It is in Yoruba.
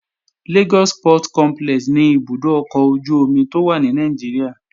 Lagos Port Complex ni ibùdó ọkọ̀ ojú-omi tó wà ní Nàìjíríà